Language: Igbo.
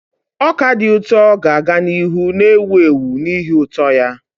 Ọka dị ụtọ ga-aga n'ihu na-ewu ewu n'ihi ụtọ ya.